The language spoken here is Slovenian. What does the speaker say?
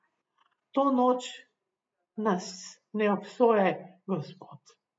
To noč nas ne obsojaj, Gospod.